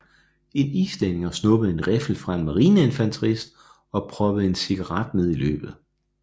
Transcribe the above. En islænder snuppede en riffel fra en marineinfanterist og proppede en cigaret ned i løbet